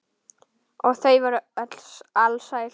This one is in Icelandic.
Og þau voru öll alsæl.